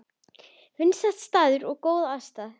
Vinsæll staður og góð aðstaða